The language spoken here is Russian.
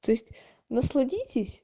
то есть насладитесь